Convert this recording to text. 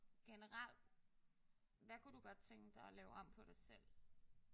Generelt. Hvad kunne du godt tænke dig at lave om på dig selv?